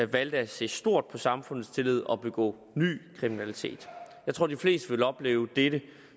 valgte at se stort på samfundets tillid og begå ny kriminalitet jeg tror de fleste ville opleve dette